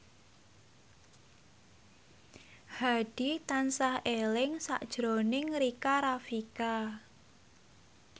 Hadi tansah eling sakjroning Rika Rafika